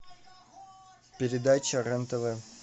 передача рен тв